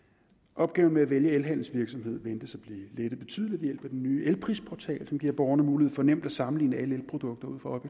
opgaven med at vælge elhandelsvirksomhed ventes at blive lettet betydeligt ved den nye elprisportal som giver borgerne mulighed for nemt at sammenligne alle elprodukter ud fra